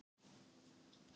Leonhard, áttu tyggjó?